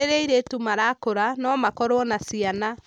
Rĩrĩa airĩtu marakũra, no makorũo na ciana.